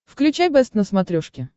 включай бэст на смотрешке